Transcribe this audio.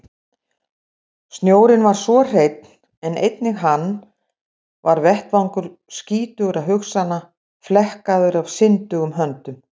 Snjórinn var svo hreinn en einnig hann var vettvangur skítugra hugsana, flekkaður af syndugum höndum.